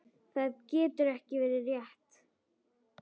Það getur ekki verið rétt.